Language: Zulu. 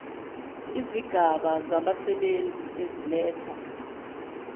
izigaba zabasebenzi eziletha